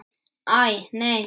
Æ, nei.